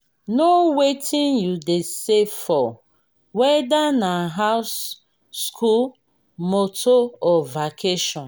know wetin you dey save for weda na house school motor or vacation